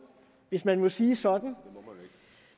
hvis man må sige sådan men